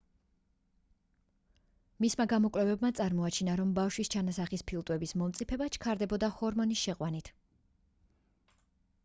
მისმა გამოკვლევებმა წარმოაჩინა რომ ბავშვის ჩანასახის ფილტვების მომწიფება ჩქარდებოდა ჰორმონის შეყვანით